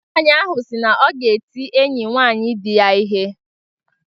Nwanyị ahụ sị na ọ ga-eti enyi nwaanyi di ya ihe.